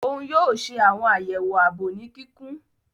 Oun yoo ṣe awọn ayewo aabo ni kikun.